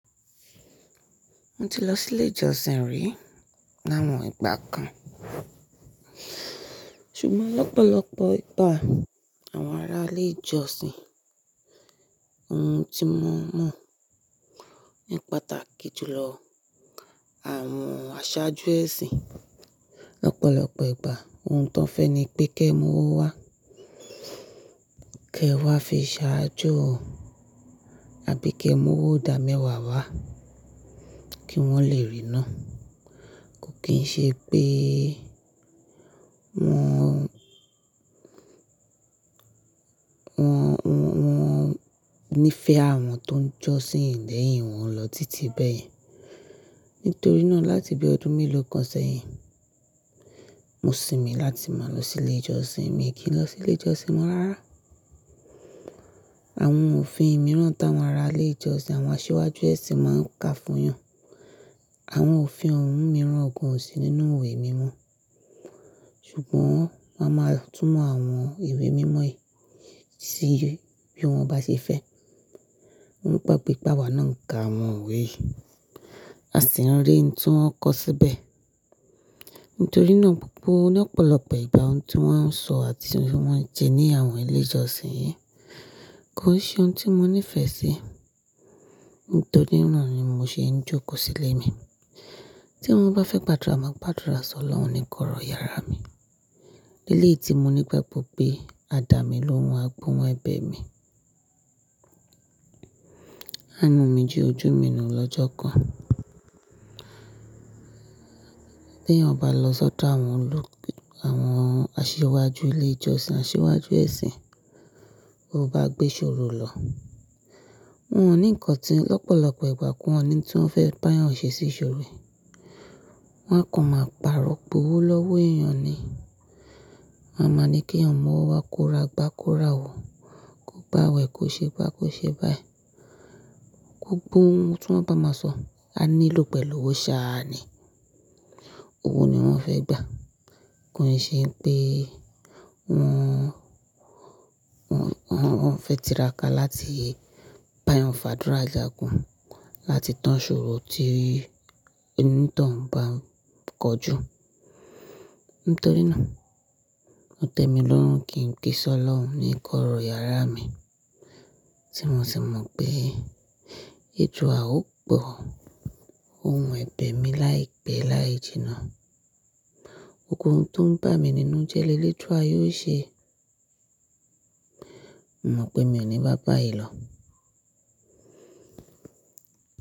Mo ti lọ sí ilé ìjọsìn rí lawon ìgbà kan. Ṣùgbọ́n lọ́pọ̀lọpọ̀ ìgbà àwọn ará ilé ìjọsìn, ohun tí mo mọ̀ ní pàtàkì jùlọ àwọn aṣáájú ẹ̀sìn lọ́pọ̀lọpọ̀ ìgbà ohun tó ń fẹ́ ni pé kí ẹ mú owó wá, kí ẹ wá fi ṣáájú ọ, àbí kí ẹ mú owó ọ̀dà mẹ́wàá wá kí wọ́n lè ríi ná. Kò kí ń ṣe pé wọn, wọn, wọn, wọn ní fẹ́ àwọn tó ń jọ́sìn lẹ́yìn wọn lọ títí bẹ́ẹ̀. Nítorí náà láti bí ọdún mélòó kan sẹ́yìn, mo sinmi láti máa lọ sí ilé ìjọsìn, mi kì í lọ sí ilé ìjọsìn mọ́ rárá. Àwọn òfin mìíràn táwọn ará ilé ìjọsìn àwọn aṣíwájú ẹ̀sìn máa ń ká fún yan. Àwọn òfin ohun mìíràn gan an sì nínú ìwé mímọ́. Ṣùgbọ́n wọ́n á máa túmọ̀ àwọn ìwé mímọ́ yìí síye bí wọ́n bá ṣe fẹ́. Wón gbàgbé wipá awa náà ń ka àwọn iwe yìí, à ṣí nrí ohun tí wọ́n kọ́ síbẹ̀. Nítorí náà gbogbo lọ́pọ̀lọpọ̀ ìgbà ohun tí wọ́n ń sọ àti ohun tí wọ́n ń jẹ ní àwọn ilé ìjọsìn yí kò n ṣe ohun tí mo nífẹ̀ẹ́ sí. Nítorí náà ni mo ṣe ń jókòó sílé mi. Tí mo bá fẹ́ gbàdúrà, màá gbàdúrà sọ Ọlọ́run ní kọ́rọ̀ yàrá mi. Eléyìí tí mo ní gbagbọ́ pé, à dá mi lóhun á gohun ẹbẹ̀ mi. À nú omijẹ́ ojú mi nù lọ́jọ́ kan. Bí èèyàn bá lọ sọ́dọ̀ àwọn olú, àwọn aṣíwájú ilé ìjọsìn, aṣíwájú ẹ̀sìn, bó bá gbé ṣòro lọ, wọ́n ò ní nǹkan tí lọ́pọ̀lọpọ̀ ìgbà kí wọ́n ni tí wọ́n fẹ́ bá èèyàn ṣe sí ṣòro rẹ̀. Wọn á kàn máa pàrọ̀ gbówó lọ́wọ́ èèyàn ni. Wọn á máa ní kí èèyàn mú owó wá kó ra gbá kó ra wò, kó gba wẹ̀ kó ṣe gbá kó ṣe báyìí. Gbogbo ohun tí wọ́n bá máa sọ, a nílò pẹ̀lú owó ṣáá ni. Owó ni wọ́n fẹ́ gbà. Kò kí ń ṣe pé wọn, wọn, wọn fẹ́ tiraka láti bá èèyàn fàdúrà jágùn láti tán ṣòro tí o ní tọ̀hún bá ń kojú. Nítorí náà mo tẹ́mi lórún kí n kí Ṣ'ọ́lọ́run ní kọ́rọ̀ yàrá mi tí mo sì mọ̀ pé èduà ó gbọ̀ ohun ẹ̀bẹ̀ mi láìpẹ́ láì jìnnà. Gbogbo ohun to ń bà mí nínú jẹ́ lélédùà yóò ṣe. Mo mọ̀ pé mi ò ní bá bàyí lọ.